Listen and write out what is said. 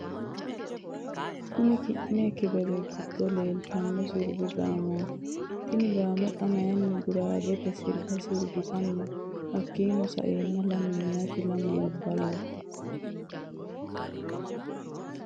Kunni kine xibebete giddo leelitano siribu gaammoti Tini gaamo xa mayiini guragete siriba siribitanni no hakiino sa'eena lame miyaate lamu labballoho.